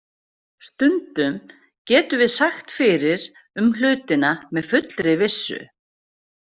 Stundum getum við sagt fyrir um hlutina með fullri vissu.